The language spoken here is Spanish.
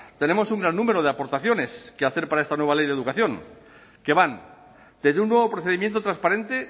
tenemos un gran número de aportaciones que hacer para esta nueva ley de educación que van desde un nuevo procedimiento transparente